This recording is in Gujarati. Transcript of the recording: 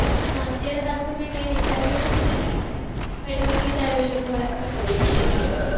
ના અત્યારે તો કાઇ વિચાર્યું નથી પણ હવે વિચારીશું થોડા સમય માં